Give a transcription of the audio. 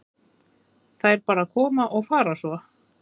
Þær bara koma og fara svo.